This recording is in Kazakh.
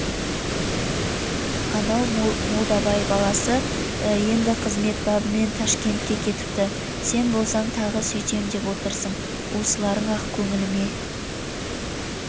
анау молдабай баласы енді қызмет бабымен тәшкентке кетіпті сен болсаң тағы сүйтем деп отырсың осыларың-ақ көңіліме